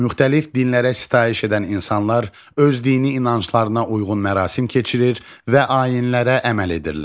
Müxtəlif dinlərə sitayiş edən insanlar öz dini inanclarına uyğun mərasim keçirir və ayinlərə əməl edirlər.